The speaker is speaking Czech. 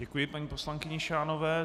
Děkuji paní poslankyni Šánové.